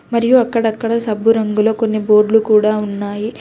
మరియు అక్కడక్కడ సబ్బు రంగుల కొన్ని బోర్డ్లు కూడ ఉన్నాయి.